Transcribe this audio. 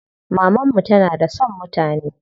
Maman mu tana da son mutane.